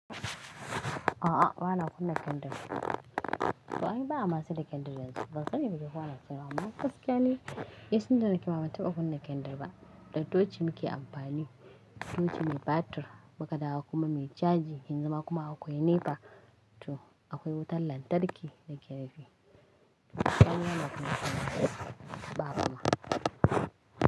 A'a bana kunna kindir. To aini ba a masa da kindir yanzu, bansani bai yace ko anasiyarwa amma. Gaskiya ne, nitunda nake ma banta ba kunna kindir ba. Da tochi muke amfani, toci mai batir, muka dawo kuma mai caji, yan zama kuma akwai nepa to akwai wutar lantarki da naajenifi.